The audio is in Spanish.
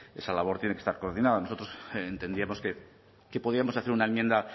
esa labor tiene que estar coordinada nosotros entendíamos que podíamos hacer una enmienda